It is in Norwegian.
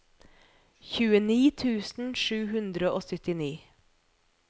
tjueni tusen sju hundre og syttini